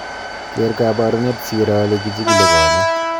Ker kabarunet si iro ole kichigili konyek